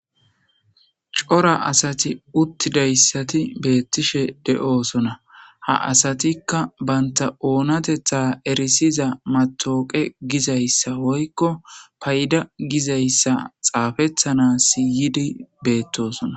cora asati uttidayssati beettishe de7oosona ha asatikka banta oonatetha erisiza matooqe gizayssa woykko payda gizayssa xaafethana siyidi beettosona